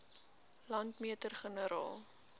landmeter generaal